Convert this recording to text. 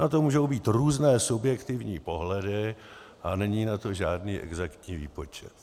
Na to můžou být různé subjektivní pohledy a není na to žádný exaktní výpočet.